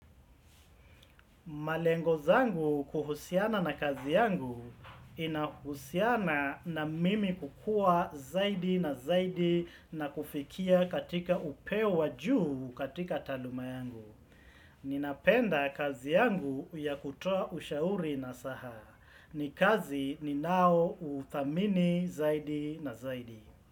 Malengo zangu kuhusiana na kazi yangu inahusiana na mimi kukua zaidi na zaidi na kufikia katika upewa juu katika taluma yangu. Ninapenda kazi yangu ya kutua ushauri nasaha. Ni kazi ni nao uthamini zaidi na zaidi.